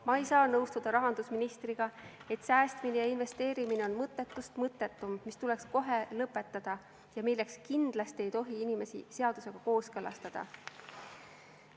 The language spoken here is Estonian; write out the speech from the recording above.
Ma ei saa nõustuda rahandusministriga, et säästmine ja investeerimine on mõttetust mõttetum, mis tuleks kohe lõpetada ja milleks kindlasti ei tohi inimesi seadusega kohustada.